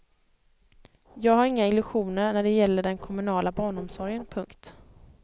Jag har inga illusioner när det gäller den kommunala barnomsorgen. punkt